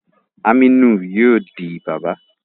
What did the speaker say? Aminu yóò di bàbà